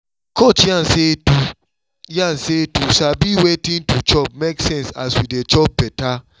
coach yarn say to yarn say to sabi wetin to chop make sense as we dey chop better